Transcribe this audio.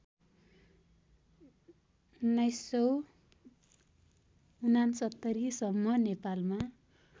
१९६९ सम्म नेपालमा